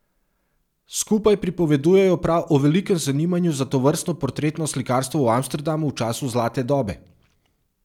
Skupaj pripovedujejo prav o velikem zanimanju za tovrstno portretno slikarstvo v Amsterdamu v času zlate dobe.